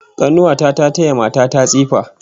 Kanuwa ta ta taya mata ta tsifa